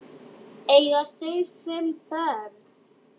Eiga þau fimm börn.